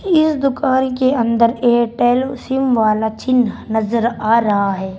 ये दुकान के अंदर एयरटेल सिम वाला चिन्ह नजर आ रहा है।